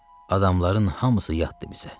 Adamların hamısı yatdı bizə.